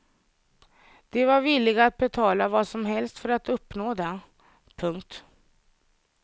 De var villiga att betala vad som helst för att uppnå det. punkt